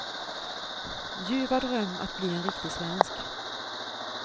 Ljuva dröm att bli en riktig svensk.